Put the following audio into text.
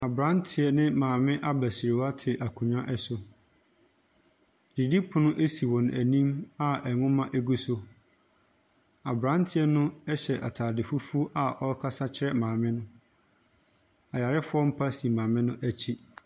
Abranteɛ ne maame abasiriwa te akonwa ɛso, didipono ɛsi wɔn a anim a ɛnwoma ɛgu so. Abranteɛ no ɛhyɛ ataade fufuo a ɔɔkasa kyerɛ maame no. Ayarefoɔ mpa si maame no akyi.